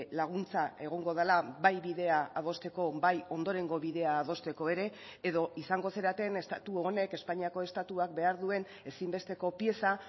laguntza egongo dela bai bidea adosteko bai ondorengo bidea adosteko ere edo izango zareten estatu honek espainiako estatuak behar duen ezinbesteko pieza